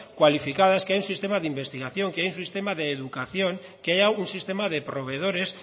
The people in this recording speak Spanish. cualificadas que haya un sistema de investigación que haya un sistema de educación que haya un sistema de proveedores